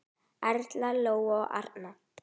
Erla, Lóa og Arnar.